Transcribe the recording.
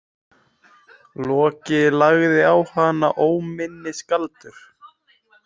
Loki lagði á hana óminnisgaldur.